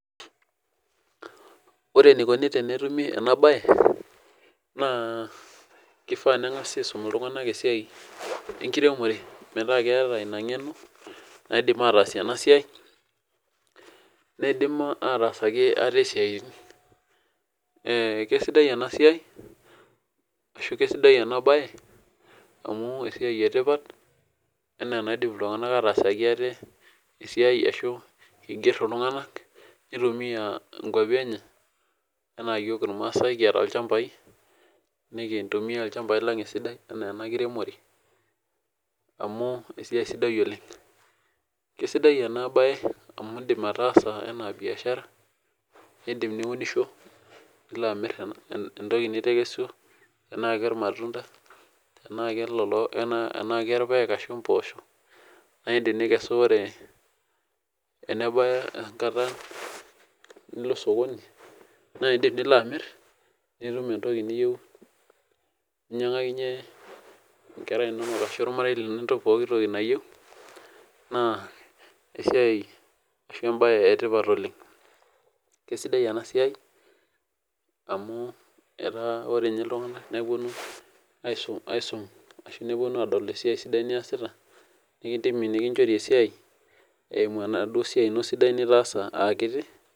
Ore enikoni tenetumi ena bae, naa kifaa nengari aisum iltunganak esiai enkire, ore, metaa keeta ina ngeno naidim aatas ena siai ,neidim atasaki ate siaitin. Keisidai ena siai ashu keisidai ena bae amu esiai etipat ena enaiadim iltunganak atasaki ate asiai ashu eiger iltunganak ,neitumiya nkwapi enye ,ena yiok irmaasai kiata ilchampai, nikintumiya ilchampai lang enaa ena kiremore amu esiai sidai oleng. Keisidai ena bae amu indim ataasa ena biashara, nindim niunisho nilo amir entoki nitekeswa tenaa kermatunda, tenaa kerpaek ashu mpoosho, naa indim nikesu ore tenebaya enkata nilo sokoni, nintum entoki ninyangakinyie nkera ashu ormarei lino entoki pooki nayieu naa esiai ashu embae etipat oleng. Keisidai ena siai amu etaa ninye ore iltunganak neponu eisum, neponu adol eisi niyasita neidim nikinchori esiai eimu enaduo siai niyasita aakiti.